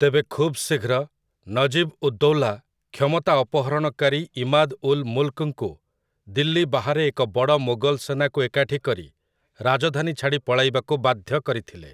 ତେବେ ଖୁବ୍ ଶୀଘ୍ର, ନଜିବ୍ ଉଦ୍ଦୌଲା କ୍ଷମତା ଅପହରଣକାରୀ ଇମାଦ୍ ଉଲ୍ ମୁଲ୍‌କଙ୍କୁ ଦିଲ୍ଲୀ ବାହାରେ ଏକ ବଡ଼ ମୋଗଲ ସେନାକୁ ଏକାଠି କରି ରାଜଧାନୀ ଛାଡ଼ି ପଳାଇବାକୁ ବାଧ୍ୟ କରିଥିଲେ ।